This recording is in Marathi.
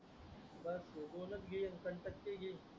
दोनच